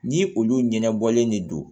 Ni olu ɲɛnɛbɔlen de don